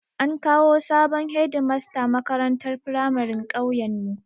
An kawo sabon Hedimasta makarantar firamarin ƙauyen mu